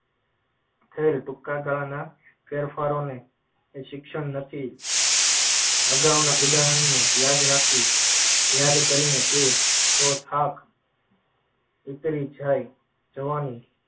fail ટૂંકા ગાળાના ફેરફારોને શિક્ષણ નથી અગાઉના ઉદાહરણને યાદ રાખી યાદ કરીને તે તો થાક ઉતરી જાય જવાની